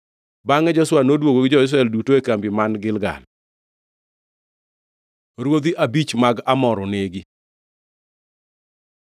Bangʼe Joshua noduogo gi jo-Israel duto e kambi man Gilgal. Ruodhi abich mag Amor onegi